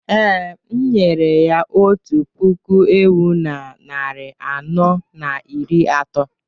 Ee, m nyere ya otu puku ewu na narị anọ na iri atọ